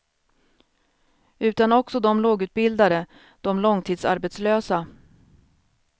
Utan också de lågutbildade, de långtidsarbetslösa.